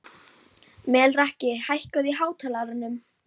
Rafnar, einhvern tímann þarf allt að taka enda.